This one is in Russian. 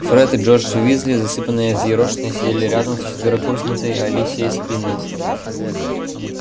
фред и джордж уизли засыпанные и взъерошенные сидели рядом с четверокурсницей алисией спиннет